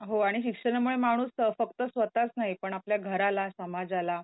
हो आणि शिक्षणामुळे माणूस फक्त स्वतःच नाही पण आपल्या घराला समाजाला